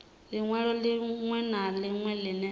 linwalo linwe na linwe line